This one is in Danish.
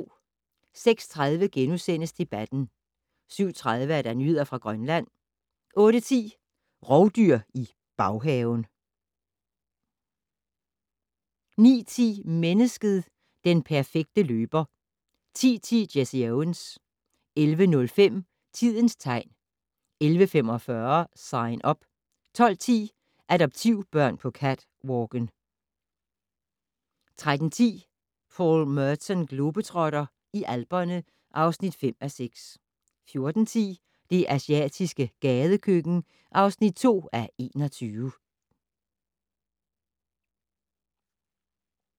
06:30: Debatten * 07:30: Nyheder fra Grønland 08:10: Rovdyr i baghaven 09:10: Mennesket - den perfekte løber 10:10: Jesse Owens 11:05: Tidens tegn 11:45: Sign Up 12:10: Adoptivbørn på catwalken 13:10: Paul Merton globetrotter - i Alperne (5:6) 14:10: Det asiatiske gadekøkken (2:21)